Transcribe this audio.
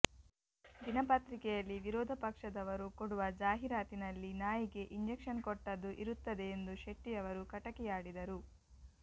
ದಿನ ಪತ್ರಿಕೆಯಲ್ಲಿ ವಿರೋದ ಪಕ್ಷದವರು ಕೊಡುವ ಜಾಹೀರಾತಿನಲ್ಲಿ ನಾಯಿಗೆ ಇಂಜೆಕ್ಷನ್ ಕೊಟ್ಟದು ಇರುತ್ತದೆ ಎಂದು ಶೆಟ್ಟಿಯವರು ಕಟಕಿಯಾಡಿದರು